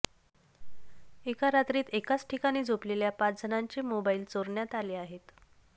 एका रात्रीत एकाच ठिकाणी झोपलेल्या पाच जणांचे मोबाईल चोरण्यात आले आहेत